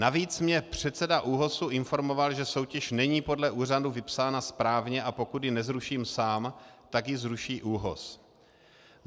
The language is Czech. Navíc mě předseda ÚOHS informoval, že soutěž není podle úřadu vypsána správně, a pokud ji nezruším sám, tak ji zruší ÚOHS.